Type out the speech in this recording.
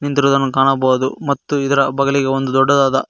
ನಿಂತಿರುವುದನ್ನು ಕಾಣಬಹುದು ಮತ್ತು ಇದರ ಬಗಲಿಗೆ ಒಂದು ದೊಡ್ಡದಾದ--